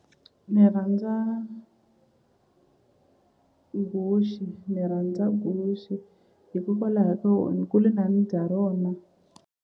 Ni rhandza guxe ni rhandza guxe hikokwalaho ko ni kule karhi ni dya rona.